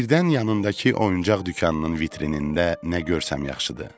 Birdən yanındakı oyuncaq dükanının vitrinində nə görsəm yaxşıdır?